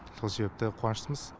сол себепті қуаныштымыз